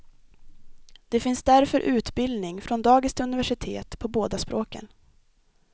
Det finns därför utbildning, från dagis till universitet, på båda språken.